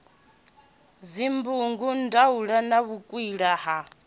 dzibugu ndaula na vhukwila ha